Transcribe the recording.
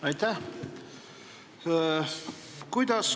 Aitäh!